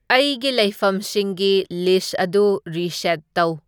ꯑꯩꯒꯤ ꯂꯩꯐꯝꯁꯤꯡꯒꯤ ꯂꯤꯁ ꯑꯗꯨ ꯔꯤꯁꯦꯠ ꯇꯧ